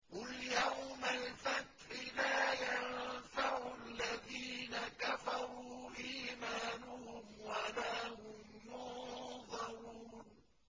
قُلْ يَوْمَ الْفَتْحِ لَا يَنفَعُ الَّذِينَ كَفَرُوا إِيمَانُهُمْ وَلَا هُمْ يُنظَرُونَ